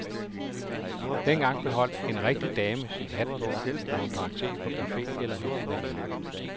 Dengang beholdt en rigtig dame sin hat på, når hun drak te på cafe eller hos en veninde.